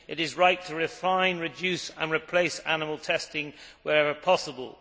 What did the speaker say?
It is right to refine, reduce and replace animal testing wherever possible.